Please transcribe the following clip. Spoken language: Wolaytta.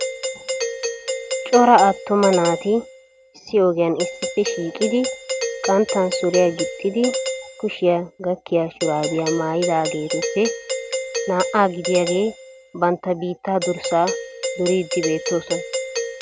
Cora attuma naati issi ogiyaan issippe shiiqidi qanttan suriyaa gixxidi kushshiyaa gakkiya shurabiyaa maayyidageetuppe naa"a gidiyaageeti banttaa biittaa durssaa duride beettoosona.